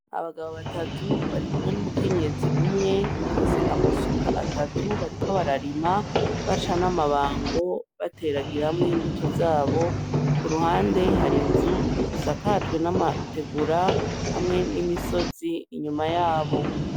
Abagabo batatu barikumwe n'umukenyezi umwe bafise amasuka atatu bariko bararima baca n'amabango bateragiramw'imbuto zabo, ku ruhande har'inzu isakajwe n'amategura hamwe n'imisozi inyuma yabo.